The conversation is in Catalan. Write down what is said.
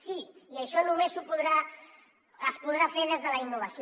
sí i això només es podrà fer des de la innovació